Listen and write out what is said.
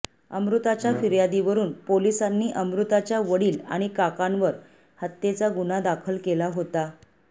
अमृताच्या फिर्यादीवरून पोलिसांनी अमृताच्या वडील आणि काकांवर हत्येचा गुन्हा दाखल केला होता